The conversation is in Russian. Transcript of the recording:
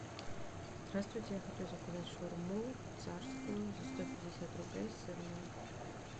здравствуйте я хочу заказать шаурму царскую за сто пятьдесят рублей сырную